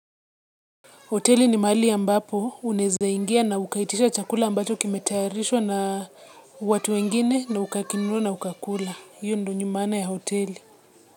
Hoteli ni mahali ambapo unaeza ingia na ukaitisha chakula ambacho kimetayarishwa na watu wengine na ukakinunua na ukakula. Hiyo ndio ni maana ya hoteli.